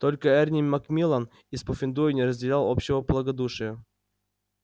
только эрни макмиллан из пуффендуя не разделял общего благодушия